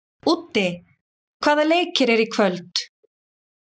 Úddi, hvaða leikir eru í kvöld?